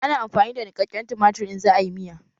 Ana amfani da niƙaƙƙen tumatir in za a yi miya